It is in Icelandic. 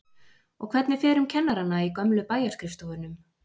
Og hvernig fer um kennarana í gömlu bæjarskrifstofunum?